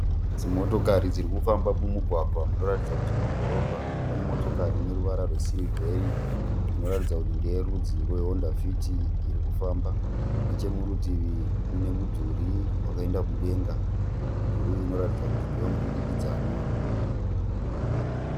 Dzimotokari dzirikufamba mumugwagwa munoratidza kuti mudhorobha. Pane motokari ineruvara rwesirivheri inoratidza kuti ndeyerudzi rwe"Honda Fit" irikufamba. Nechemurutivi munemudhuri wakaenda kudenga. Mudhuri uyu unoratidza kuti ndewemudurikidzanwa.